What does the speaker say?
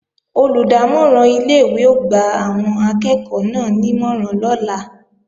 Olùdámọ̀ràn ilé-ìwé ó gba àwọn akẹ́ẹ̀kọ́ náà nímọ̀ràn lọ́la